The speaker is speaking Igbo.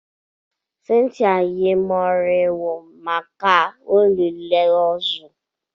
Cynthia yi moriwo maka olili ozu.